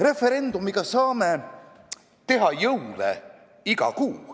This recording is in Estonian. Referendumiga saame teha jõule iga kuu.